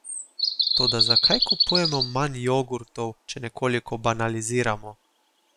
Toda, zakaj kupujemo manj jogurtov, če nekoliko banaliziramo?